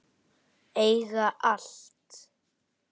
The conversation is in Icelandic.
Eiga allt.